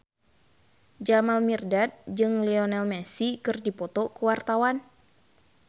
Jamal Mirdad jeung Lionel Messi keur dipoto ku wartawan